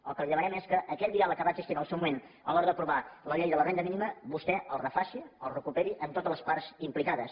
el que li demanem és que aquell diàleg que va existir en el seu moment a l’hora d’aprovar la llei de la renda mínima vostè el refaci el recuperi amb totes les parts implicades